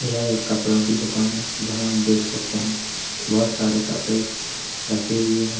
यह एक कपड़ों की दुकान है जहां आप देख सकते हैं बहुत सारे कपड़े रखे हुए हैं।